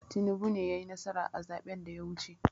Tinibu ne yai nasara a zaɓen da ya wuce